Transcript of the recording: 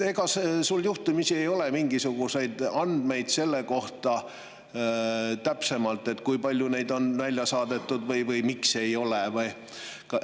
Ega sul ei ole juhtumisi mingisuguseid täpsemaid andmeid selle kohta, kui palju neid on siit välja saadetud või miks ei ole seda tehtud?